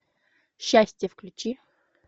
счастье включи